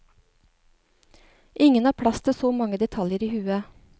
Ingen har plass til så mange detaljer i hodet.